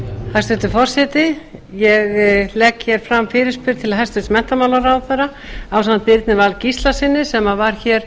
hæstvirtur forseti ég legg hér fram fyrirspurn til hæstvirts menntamálaráðherra ásamt birni val gíslasyni sem var hér